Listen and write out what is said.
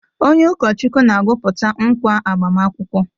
Onye ụkọchukwu na-agwụpụta nkwa agbamakwụkwọ.